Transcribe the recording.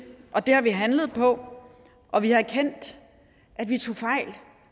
og det har vi handlet på og vi har erkendt at vi tog fejl